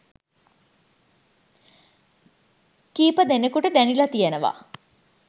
කිහිපදෙනෙකුට දැනිලා තියෙනවා.